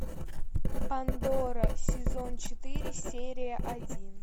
пандора сезон четыре серия один